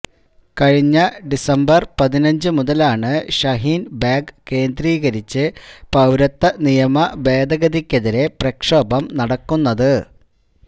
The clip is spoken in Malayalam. കഴിഞ്ഞ ഡിസംബര് പതിനഞ്ച് മുതലാണ് ഷഹീന് ബാഗ് കേന്ദ്രീകരിച്ച് പൌരത്വ നിയമ ഭേദഗതിക്കെതിരെ പ്രക്ഷോഭം നടക്കുന്നത്